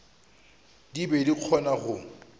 di be di kgona go